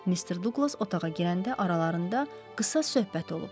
Mister Duqlas otağa girəndə aralarında qısa söhbət olub.